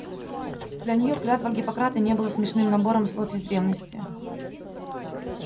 для неё клятва гиппократа не была смешным набором слов из древности